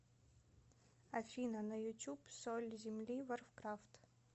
афина на ютуб соль земли варкрафт